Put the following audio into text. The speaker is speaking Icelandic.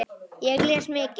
Ég les mikið.